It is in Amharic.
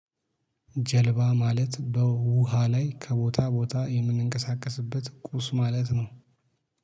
ጀልባ ማለት በውሃ ላይ ከቦታ ቦታ የምንቀሳቀስበት ቁስ ማለት ነው።